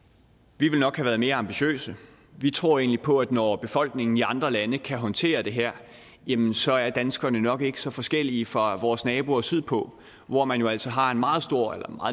vi ville nok have været mere ambitiøse vi tror egentlig på at når befolkningen i andre lande kan håndtere det her jamen så er danskerne nok ikke så forskellige fra vores naboer sydpå hvor man jo altså har en meget